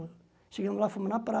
Chegamos lá, fomos na